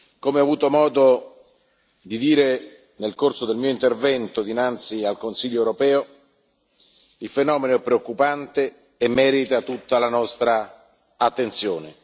Come ho avuto modo di dire nel corso del mio intervento dinanzi al Consiglio europeo, il fenomeno è preoccupante e merita tutta la nostra attenzione.